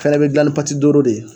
fɛnɛn bɛ dila dooro de ye.